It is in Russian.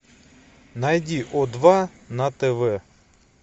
найди о два на тв